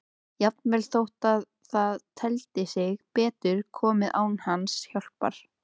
Jafnvel þótt það teldi sig betur komið án hans hjálpar.